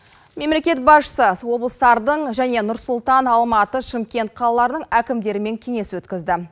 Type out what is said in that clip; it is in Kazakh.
мемлекет басшысы облыстардың және нұр сұлтан алматы шымкент қалаларының әкімдерімен кеңес өткізді